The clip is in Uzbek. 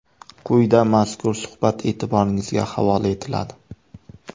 Quyida mazkur suhbat e’tiboringizga havola etiladi.